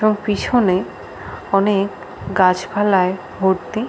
এবং পিছনে অনেক গাছ পালায় ভর্তি ।